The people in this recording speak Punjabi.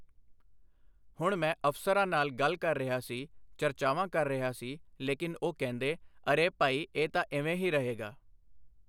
ਹੁਣ ਮੈਂ ਅਫ਼ਸਰਾਂ ਨਾਲ ਗੱਲ ਕਰ ਰਿਹਾ ਸੀ, ਚਰਚਾਵਾਂ ਕਰ ਰਿਹਾ ਸੀ ਲੇਕਿਨ ਉਹ ਕਹਿੰਦੇ ਅਰੇ ਭਾਈ ਇਹ ਤਾਂ ਇਵੇਂ ਹੀ ਰਹੇਗਾ।